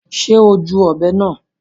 Ṣe o júù ọbẹ náà?